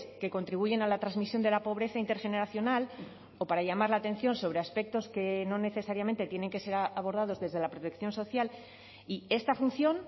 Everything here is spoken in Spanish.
que contribuyen a la transmisión de la pobreza intergeneracional o para llamar la atención sobre aspectos que no necesariamente tienen que ser abordados desde la protección social y esta función